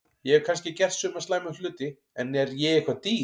Ég hef kannski gert suma slæma hluti en er ég eitthvað dýr?